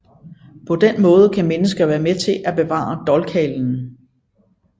På den måde kan mennesker være med til at bevare dolkhalen